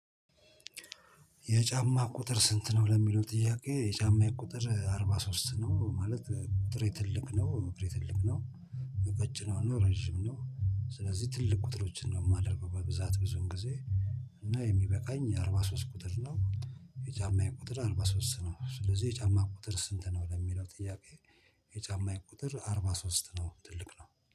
የጫማ ቁጥር ስንት ነው? ለሚለው ጥያቄ የጫማዬ ቁጥር አርባ ሶስት ነው ማለት ቁጥሬ ትልቅ ነው እግሬ ትልቅ ነው። ቀጭን ሆኖ ረጅም ነው። ስለዚህ ትልቅ ቁጥሮችን ነው የማደርገው በብዛት ብዙን ጊዜ። እና የሚበቃኝ የአርባ ሶስት ቁጥር ነው። የጫማዬ ቁጥር አርባ ሶስት ነው። ስለዚህ የጫማ ቁጥር ስንት ነው? ለሚለው ጥያቄ። የጫማ ዬቁጥር አርባ ሶስት ነው ትልቅ ነው